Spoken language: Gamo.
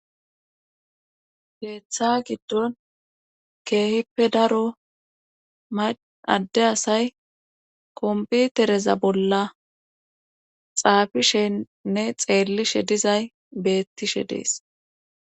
Keeththa giddon keehippe daro ma adde asay kompitereza bolla xaafishennne xeellishe dizay beettishe dees